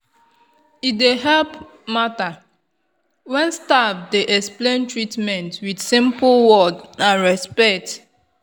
e dey help matter when staff dey explain treatment with simple word and respect.